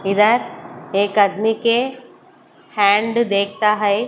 इधर एक आदमी के हैंड देखता है।